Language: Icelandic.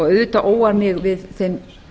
auðvitað óar mig við þeim